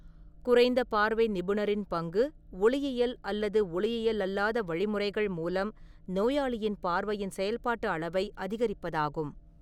குறைந்த பார்வை நிபுணரின் பங்கு, ஒளியியல் அல்லது ஒளியியல்அல்லாத வழிமுறைகள் மூலம் நோயாளியின் பார்வையின் செயல்பாட்டு அளவை அதிகரிப்பதாகும்.